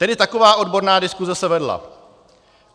Tedy taková odborná diskuse se vedla.